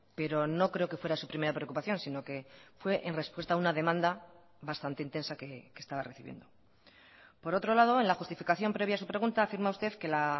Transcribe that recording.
pero no creo que fuera su primera preocupación sino que fue en respuesta a una demanda bastante intensa que estaba recibiendo por otro lado en la justificación previa a su pregunta afirma usted que la